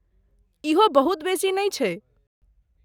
इहो बहुत बेसी नहि छै।